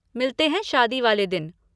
मिलते हैं शादी वाले दिन।